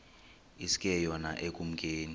iske yona ekumkeni